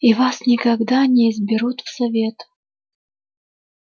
и вас никогда не изберут в совет